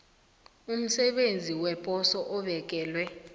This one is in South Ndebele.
umsebenzi weposo obekelwe